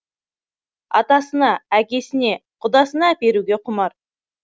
атасына әкесіне құдасына әперуге құмар